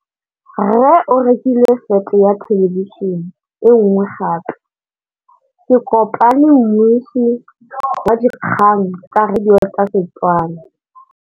Rre o rekile sete ya thêlêbišênê e nngwe gape. Ke kopane mmuisi w dikgang tsa radio tsa Setswana.